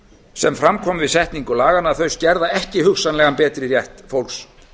sem fram kom við setningu laganna að þau skerða ekki hugsanlegan betri rétt fólks